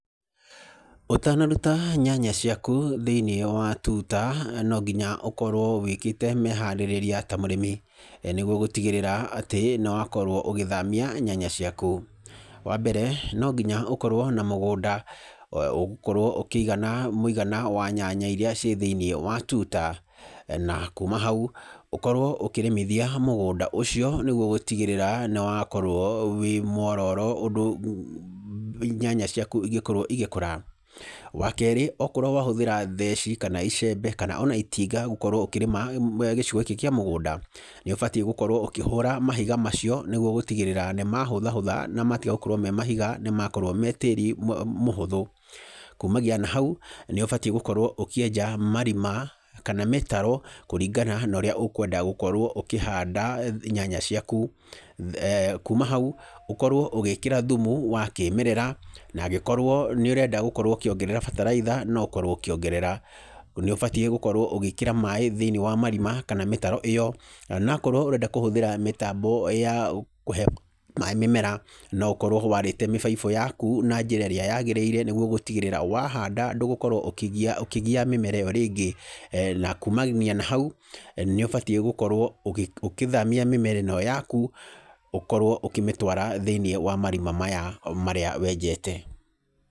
Ũtanaruta nyanya ciaku thĩinĩ wa tuta no nginya ũkorwo wĩkĩte meharĩrĩria ta mũrĩmi, nĩguo gũtigĩrĩra atĩ nĩ wakorwo ũgĩthamia nyanya ciaku. Wa mbere, no nginya ũkorwo na mũgũnda ũgũkorwo ũkĩigana mũigana wa nyanya iria ciĩ thĩinĩ wa tuta, na kuma hau ũkorwo ũkĩrĩmithia mũgũnda ũcio nĩguo gũtigĩrĩra nĩwakorwo wĩ muororo ũndũ nyanya ciaku ingĩkorwo igĩkũra. Wa keerĩ, okorwo wahũthĩra theci kana icembe kana ona itinga gũkorwo ũkĩrĩma gĩcigo gĩkĩ kĩa mũgũnda, nĩũbatiĩ gũkorwo ũkĩhũra mahiga macio nĩguo gũtigĩrĩra nĩ mahũthahũtha na matiga gũkorwo me mahiga nĩmakorwo me tĩĩri mũhũthũ. Kumagia na hau, nĩ ũbatiĩ gũkorwo ũkĩenja marima kana mĩtaro kũringana na ũrĩa ũkwenda gũkorwo ũkĩhanda nyanya ciaku. Kuma hau ũkorwo ũgĩkĩra thumu wa kĩmerera na angĩkorwo nĩ ũrenda gũkorwo ũkĩongerera bataraitha no ũkorwo ũkĩongerera. Nĩ ũbatiĩ gũkorwo ũgĩĩkĩra maaĩ thĩinĩ wa marima kana mĩtaro ĩyo, na okorwo ũrenda kũhũthĩra mĩtambo ya kũhe maaĩ mĩmera no ũkorwo warĩte mĩbaibũ yaku na njĩra ĩrĩa yaagĩrĩire nĩguo gũtigĩrĩra wahanda ndũgũkorwo ũkĩgia mĩmera ĩyo rĩngĩ. Na kumania na hau nĩ ũbatiĩ gũkorwo ũkithamia mĩmera ĩno yaku ũkorwo ũkĩmĩtwara thĩinĩ wa marima maya marĩa wenjete.